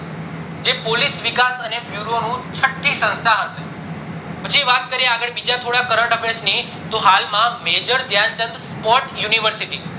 જે પોલીસ વિકાસ અને Bureau ની છથી સ્સ્નસ્થા હઈસે પછી વાત કરીએ આગળ થોડા corrent affairs ની તો હાલ માં Major Dhyan Chand sports university